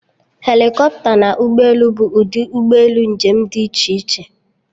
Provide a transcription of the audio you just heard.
Helikọpta na ụgbọelu bụ ụdị ụgbọelu njem dị iche iche